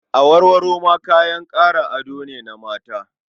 Awarwaro ma kayan ado ne na mata.